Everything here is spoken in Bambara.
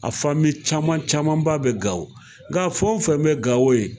A fami caman camanba bɛ Gawo, nka fɛn o fɛn bɛ Gawo yen